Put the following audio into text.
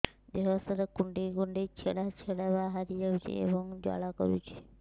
ଦେହ ସାରା କୁଣ୍ଡେଇ କୁଣ୍ଡେଇ ଛେଡ଼ା ଛେଡ଼ା ବାହାରି ଯାଉଛି ଏବଂ ଜ୍ୱାଳା କରୁଛି